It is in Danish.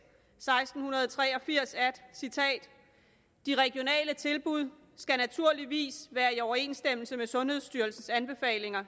seksten tre og firs de regionale tilbud skal naturligvis være i overensstemmelse med sundhedsstyrelsens anbefalinger